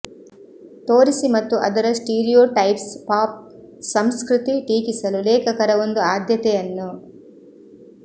ತೋರಿಸಿ ಮತ್ತು ಅದರ ಸ್ಟೀರಿಯೊಟೈಪ್ಸ್ ಪಾಪ್ ಸಂಸ್ಕೃತಿ ಟೀಕಿಸಲು ಲೇಖಕರ ಒಂದು ಆದ್ಯತೆಯನ್ನು